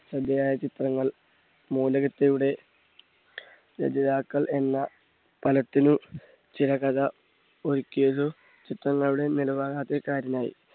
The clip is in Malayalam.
ശ്രദ്ധയായ ചിത്രങ്ങൾ രചയിതാക്കൾ എല്ലാ തലത്തിലും ചില കഥ ഒരുക്കിയത് ചിത്രങ്ങളുടെ നിലവാര കാരണായി.